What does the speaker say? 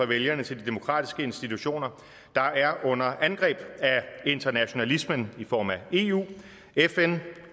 vælgerne til de demokratiske institutioner der er under angreb af internationalismen i form af eu fn